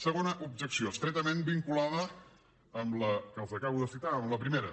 segona objecció estretament vinculada amb la que els acabo de citar amb la primera